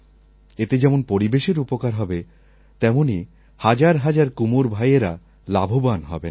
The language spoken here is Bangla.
এতে যেমন পরিবেশের উপকার হবে তেমনই হাজার হাজার কুমোর ভাইয়েরা লাভবান হবেন